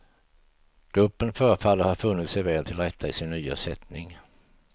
Gruppen förefaller ha funnit sig väl till rätta i sin nya sättning.